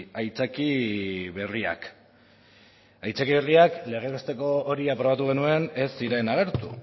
aitzaki berriak aitzaki berriaz legez besteko hori aprobatu genuen ez ziren agertu